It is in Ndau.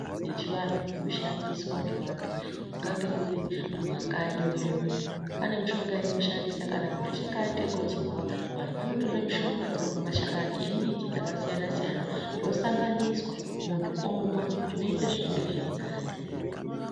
Yechivandu inoshandiswa ngevandu kungange kuri mumakanyi medumo pane mushonga yatinoshandisa kana mundu achinge aite gotsorwa vanotara mushonga mashakani emumbuti yakasiyana siyana yosanganiswa mundu omwa zvoita zviri nane.